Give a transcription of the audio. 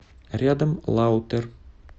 рядом лаутер